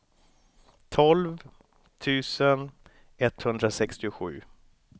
tolv tusen etthundrasextiosju